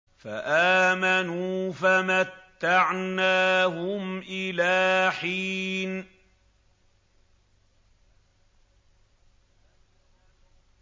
فَآمَنُوا فَمَتَّعْنَاهُمْ إِلَىٰ حِينٍ